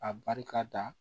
A barika da